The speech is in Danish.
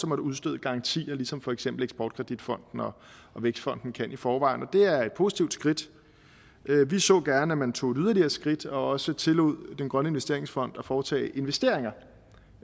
måtte udstede garantier ligesom for eksempel eksport kredit fonden og vækstfonden kan i forvejen det er et positivt skridt vi så gerne at man tog et yderligere skridt og også tillod den grønne investeringsfond at foretage investeringer